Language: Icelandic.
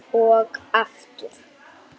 Erni var nóg boðið.